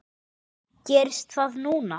Gerist það núna?